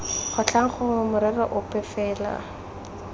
kgotlhang gongwe morero ope fela